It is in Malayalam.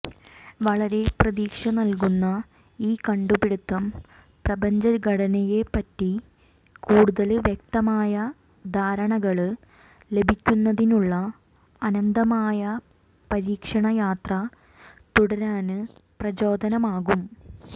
വളരെ പ്രതീക്ഷ നല്കുന്ന ഈ കണ്ടുപിടിത്തം പ്രപഞ്ചഘടനയെപ്പറ്റി കൂടുതല് വ്യക്തമായ ധാരണകള് ലഭിക്കുന്നതിനുള്ള അനന്തമായ പരീക്ഷണയാത്ര തുടരാന് പ്രചോദനമാകും